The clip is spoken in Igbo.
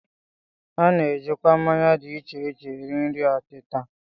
A na-ejikwa mmanya dị iche iche eri nri ọtịta